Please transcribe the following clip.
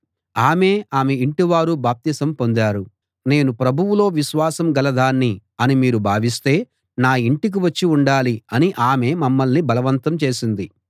ఆమె ఆమె ఇంటివారూ బాప్తిసం పొందారు నేను ప్రభువులో విశ్వాసం గలదాన్ని అని మీరు భావిస్తే నా ఇంటికి వచ్చి ఉండాలి అని ఆమె మమ్మల్ని బలవంతం చేసింది